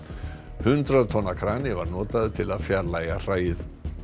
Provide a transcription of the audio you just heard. hundrað tonna krani var notaður til að fjarlægja hræið